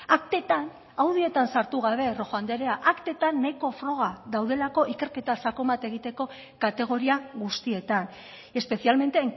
aktetan audioetan sartu gabe rojo andrea aktetan nahiko froga daudelako ikerketa sakon bat egiteko kategoria guztietan especialmente